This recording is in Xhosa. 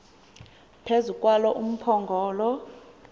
phezu kwalo umphongolo